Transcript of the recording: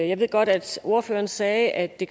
jeg ved godt at ordføreren sagde at det